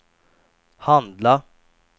handla